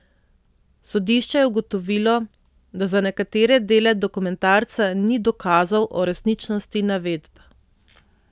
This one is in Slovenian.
Sodišče je ugotovilo, da za nekatere dele dokumentarca ni dokazov o resničnosti navedb.